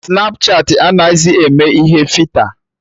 Snapchatị anaghịzị eme ihe fita